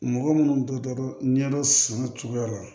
Mɔgɔ minnu tora ɲɛdɔn san o cogoya la